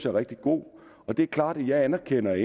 er rigtig god det er klart at jeg anerkender at